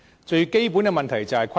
最基本的問題就是虧損。